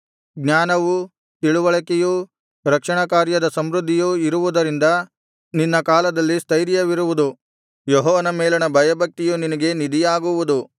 ಜ್ಞಾನವೂ ತಿಳಿವಳಿಕೆಯೂ ರಕ್ಷಣಾಕಾರ್ಯದ ಸಮೃದ್ಧಿಯೂ ಇರುವುದರಿಂದ ನಿನ್ನ ಕಾಲದಲ್ಲಿ ಸ್ಥೈರ್ಯವಿರುವುದು ಯೆಹೋವನ ಮೇಲಣ ಭಯಭಕ್ತಿಯು ನಿನಗೆ ನಿಧಿಯಾಗುವುದು